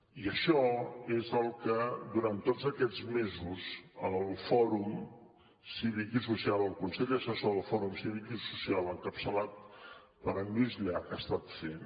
i això és el que durant tots aquests mesos el consell assessor per a l’impuls d’un fòrum cívic i social encapçalat per en lluís llach ha estat fent